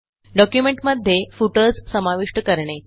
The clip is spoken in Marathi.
डॉक्युमेंटमध्ये फुटर्स समाविष्ट करणे